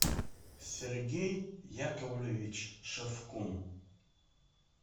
сергей яковлевич шевкун